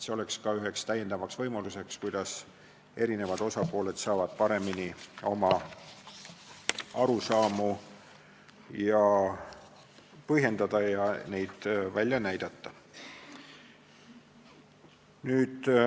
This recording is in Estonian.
See oleks ka üks lisavõimalusi, kuidas osapooled saaksid paremini oma arusaamu põhjendada ja neid välja näidata.